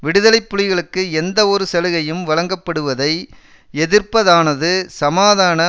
விடுதலை புலிகளுக்கு எந்தவொரு சலுகையும் வழங்கப்படுவதை எதிர்ப்பதானது சமாதான